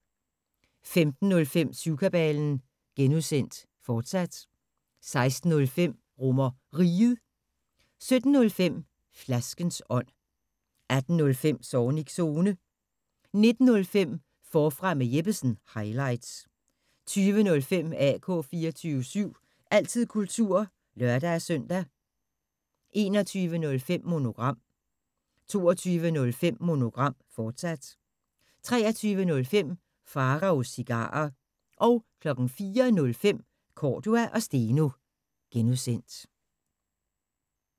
15:05: Syvkabalen (G), fortsat 16:05: RomerRiget 17:05: Flaskens ånd 18:05: Zornigs Zone 19:05: Forfra med Jeppesen – highlights 20:05: AK 24syv – altid kultur (lør-søn) 21:05: Monogram 22:05: Monogram, fortsat 23:05: Pharaos Cigarer 04:05: Cordua & Steno (G)